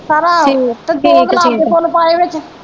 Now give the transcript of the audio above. ਸਾਰਾ ਤੇ ਦੋ ਗੁਲਾਬ ਦੇ ਫੁੱਲ ਪਾਏ ਵਿਚ